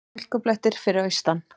Hálkublettir fyrir austan